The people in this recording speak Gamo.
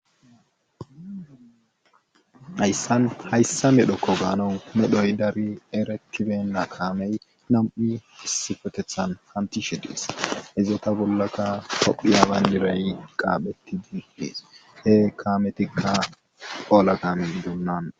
ayssan hayssa medhokko gaanon medhoy dari erekiben na kaamey nam7i isifetethan hantishe dies izata bollaka kophiyaaban diray qaaphetti didees he kaametikka qola kamen dunnan